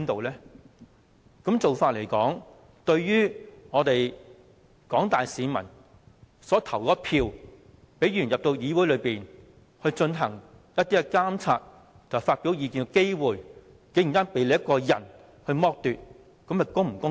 這樣做對於廣大市民有份投票選出的議員，他們進入議會監察政府和發表意見的機會，竟然被你一個人剝奪，這是否公道？